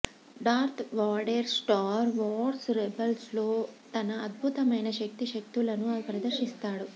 Darth Vader Star Wars రెబెల్స్లో తన అద్భుతమైన శక్తి శక్తులను ప్రదర్శిస్తాడు